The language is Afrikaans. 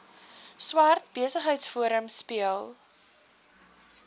swart besigheidsforum speel